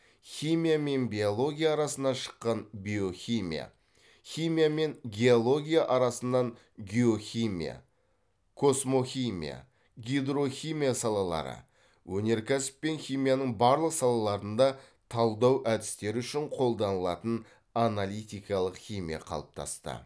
химия мен биология арасынан шыққан биохимия химия мен геология арасынан геохимия космохимия гидрохимия салалары өнеркәсіп пен химияның барлық салаларында талдау әдістері үшін қолданылатын аналитикалық химия қалыптасты